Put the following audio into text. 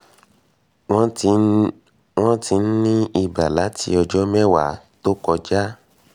wọ́n ti ń ní iba láti ọjọ́ mẹ́wàá tó kọjá